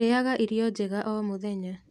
Rĩaga irio njega o mũthenya